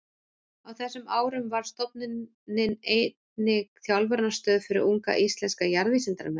Á þessum árum varð stofnunin einnig þjálfunarstöð fyrir unga íslenska jarðvísindamenn.